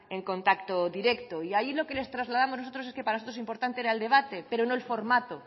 en contacto directo y ahí lo que les trasladamos nosotros es que para nosotros importante era el debate pero no el formato